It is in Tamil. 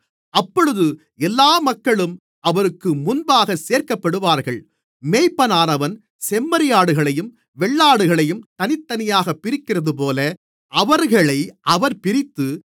அப்பொழுது எல்லா மக்களும் அவருக்கு முன்பாகச் சேர்க்கப்படுவார்கள் மேய்ப்பனானவன் செம்மறியாடுகளையும் வெள்ளாடுகளையும் தனித்தனியாகப் பிரிக்கிறதுபோல அவர்களை அவர் பிரித்து